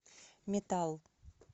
метал